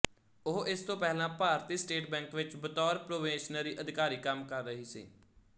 ਉਹ ਇਸ ਤੋਂ ਪਹਿਲਾਂ ਭਾਰਤੀ ਸਟੇਟ ਬੈਂਕ ਵਿੱਚ ਬਤੌਰ ਪ੍ਰੋਬੇਸ਼ਨਰੀ ਅਧਿਕਾਰੀ ਕੰਮ ਕਰ ਰਹੀ ਸੀ